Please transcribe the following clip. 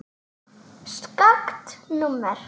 Skakkt númer.